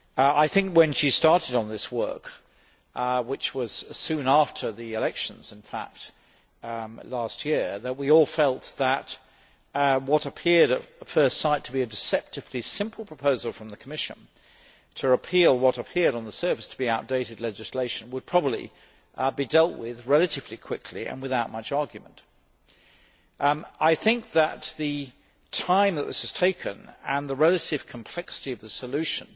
I think that when she started on this work, which was soon after the elections last year, we all felt that what appeared at first sight to be a deceptively simple proposal from the Commission to repeal what appeared on the surface to be outdated legislation would probably be dealt with relatively quickly and without much argument. The time that this has taken and the relative complexity of the solution